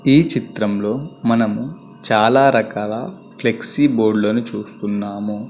ఈ చిత్రంలో మనము చాలా రకాల ఫ్లెక్సీ బోర్డు లను చూస్తున్నాము.